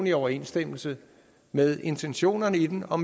i overensstemmelse med intentionerne i den og